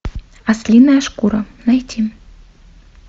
ослиная шкура найти